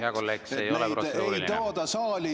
Hea kolleeg, see ei ole protseduuriline!